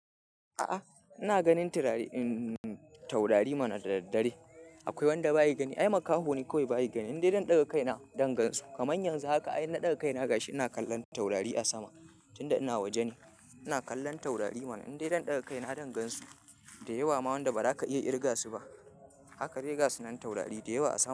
A'ah, ina ganin taurari mana da daddare. Akwai wanda bayi gani, ai makaho ne kawai bayi gani. Indai zan ɗaga kaina dan gan su. Kamanyan yanzu haka ai inna ɗaga kaina gashi ina kallon taurari a sama tunda ina waje ne. Ina kallon taurari mana indai zan ɗaga kaina zan gan su da yawa ma wanda ba za ka iya irga su ba. Haka dai gasu nan taurari da yawa a sama.